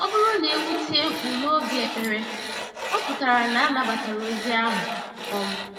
Ọ bụrụ na ewu tie mkpu n'oge ekpere, ọ pụtara na a nabatara ozi ahụ. um